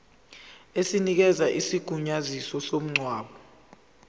esinikeza isigunyaziso somngcwabo